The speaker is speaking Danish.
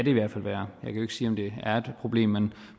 i hvert fald være jeg kan jo ikke sige om det er et problem men